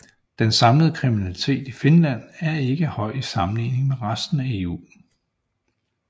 Den samlede kriminalitet i Finland er ikke høj i sammenligning med resten af EU